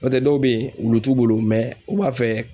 N'o tɛ dɔw bɛ ye olu t'u bolo u b'a fɛ